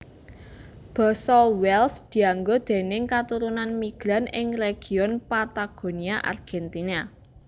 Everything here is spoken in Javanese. Basa Welsh dianggo déning katurunan migran ing region Patagonia Argentina